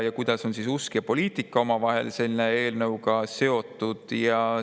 Kuidas on usk ja poliitika omavahel selle eelnõuga seotud?